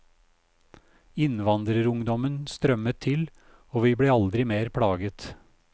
Innvandrerungdommen strømmet til, og vi ble aldri mer plaget.